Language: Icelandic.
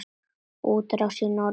Útrás í norður